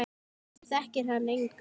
Hér þekkir hann engan.